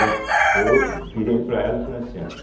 Eu virei para ela e falei assim olha,